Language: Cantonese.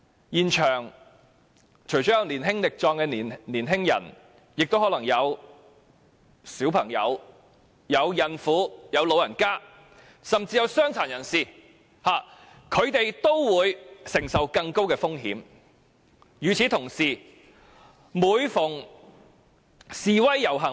現場除了有年輕力壯的青年人外，也可能會有小朋友、孕婦及長者，甚至傷殘人士，他們面對的風險自然更高。